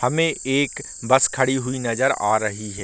हमें एक बस खड़ी हुई नजर आ रही है।